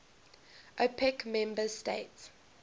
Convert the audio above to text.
opec member states